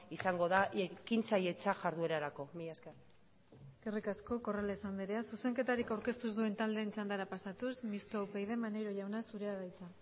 izango da ekintzailetza jarduerarako mila esker eskerrik asko corrales andrea zuzenketarik aurkeztu ez duen taldeen txandara pasatuz mistoa upyd maneiro jauna zurea da hitza